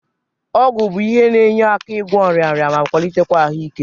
Ọgwụ bụ ihe na-enye aka n'ịgwọ nrịnrịa ma kwalịtekwa ahụike.